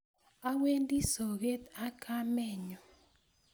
Awendi soget ak kamennyu